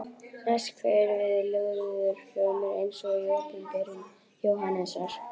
Næst kveður við lúðurhljómur eins og í Opinberun Jóhannesar